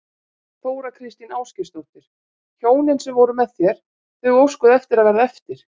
Þóra Kristín Ásgeirsdóttir: Hjónin sem voru með þér, þau óskuðu eftir að verða eftir?